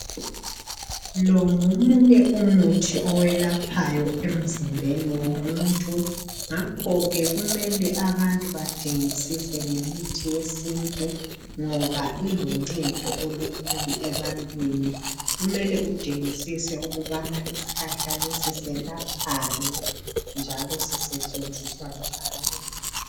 Lo ngomunye umuthi owelaphayo emzimbeni womuntu. Ngakho ke kumele abantu badingisise ngemithi yesintu, ngoba iluncedo olukhulu ebantwini. Kumele udingisise ukuthi isihlahla lesi selaphani, njalo sisetshenziswa njani?